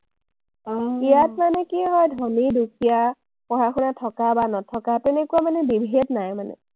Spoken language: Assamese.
ইয়াত মানে কি হয়, ধনী-দুখীয়া, পঢ়াশুনা থকা বা নথকা তেনেকুৱা মানে বিভেদ নাই মানে।